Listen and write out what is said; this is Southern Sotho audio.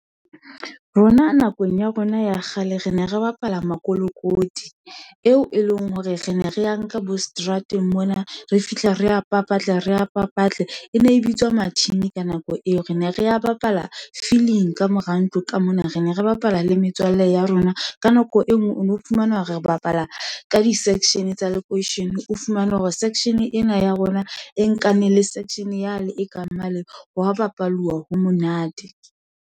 Rona nakong ya rona ya kgale re ne re bapala makolokoti, eo e leng hore re ne re nka bo seterateng mona, re fihla re a papatle, re a papatle, e ne e bitswa matjhini ka nako eo, re ne re bapala filing ka mora ntlo ka mona, re ne re bapala le metswalle ya rona. Ka nako e nngwe o no fumana, re bapala ka di-section-e tsa lekweishene, o fumane hore section-e ena ya rona, e nkane le section yane e ka mane. Ho wa bapaluwa ha monate.